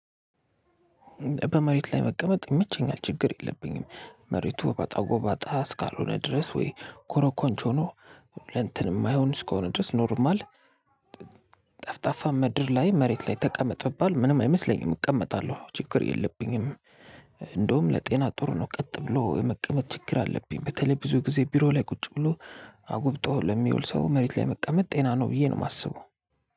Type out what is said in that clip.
በመሬት ላይ መቀመጥ ይመቸኛል ችግር የለብኝም መሬቱ አባጣ ጎባጣ እስካልሆነ ድረስ ወይ ኮሮኮንች ሆኖ ለእንትን የማይሆን እስከሆነ ድረስ ኖርማል። ጠፍጣፋ ምድር ላይ መሬት ላይ ተቀመጥ ብባል ምንም አይመስለኝም እቀመጣለሁ ችግር የለብኝም። እንደውም ለጤና ጥሩ ነው ቀጥ ብሎ የመቀመጥ ችግር አለብኝ። በተለይ ብዙ ጊዜ ቢሮ ላይ ቁጭ ብሎ አጉብጦ ለሚውል ሰው መሬት ላይ መቀመጥ ጤና ነው ብዬ ነው የማስበው።